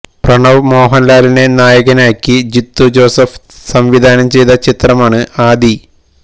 പ്രണവ് മോഹന്ലാലിനെ നായകനാക്കി ജീത്തു ജോസഫ് സംവിധാനം ചെയ്ത ചിത്രമാണ് ആദി